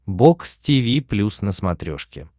бокс тиви плюс на смотрешке